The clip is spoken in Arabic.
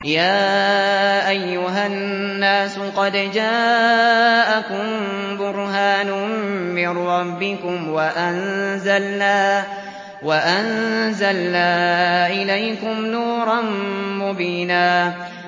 يَا أَيُّهَا النَّاسُ قَدْ جَاءَكُم بُرْهَانٌ مِّن رَّبِّكُمْ وَأَنزَلْنَا إِلَيْكُمْ نُورًا مُّبِينًا